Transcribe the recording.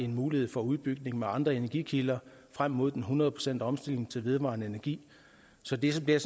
mulighed for at udbygge med andre energikilder frem mod hundrede procent omstilling til vedvarende energi så det bliver